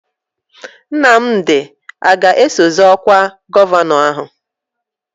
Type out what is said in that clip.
Nnamdi a ga-eso zọọ ọkwa gọvanọ ahụ?